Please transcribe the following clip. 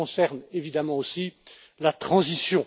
Cela concerne évidemment aussi la transition.